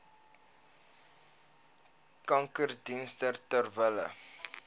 kankerdienste ter wille